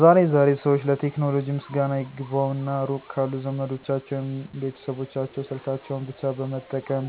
ዛሬ ዛሬ ሰዎች ለቴክኖሎጂ ምስጋና ይግባውና ሩቅ ካሉ ዘመዶቻቸው ወይም ቤተሰቦቻቸው ስልካቸውን ብቻ በመጠቀም :-